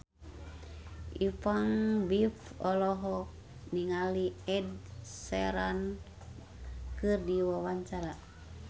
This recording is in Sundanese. Ipank BIP olohok ningali Ed Sheeran keur diwawancara